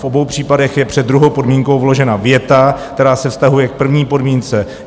V obou případech je před druhou podmínkou vložena věta, která se vztahuje k první podmínce.